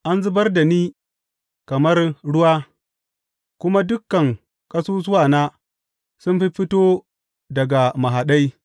An zubar da ni kamar ruwa, kuma dukan ƙasusuwana sun fiffito daga mahaɗai.